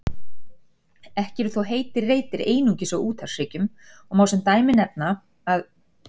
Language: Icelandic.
Ekki eru þó heitir reitir einungis á úthafshryggjum og má sem dæmi nefna að